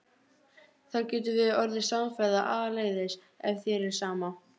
Þá getum við orðið samferða áleiðis ef þér er sama.